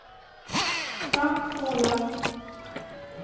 Frank Håland